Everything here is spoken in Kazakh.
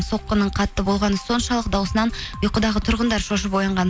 соққының қатты болғаны соншалық дауысынан ұйқыдағы тұрғындар шошып оянған